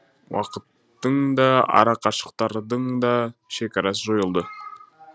уақыттың да арақашықтықтардың да шекарасы жойылды